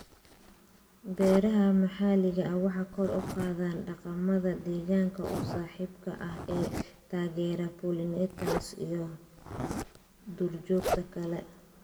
Beeraha maxalliga ah waxay kor u qaadaan dhaqamada deegaanka u saaxiibka ah ee taageera pollinators iyo duurjoogta kale.